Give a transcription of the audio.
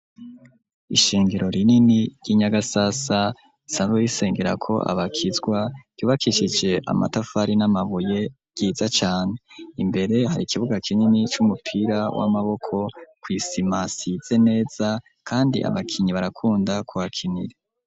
Ishengero rinini, ry'i Nyagasasa, risanzwe risengerako abakizwa, ryubakishije amatafari, n'amabuye, ryiza cane; imbere, hari ikibuga kinini, c'umupira w'amaboko, kw'isima, hasize neza, kandi abakinyi, barakunda kuhakinira.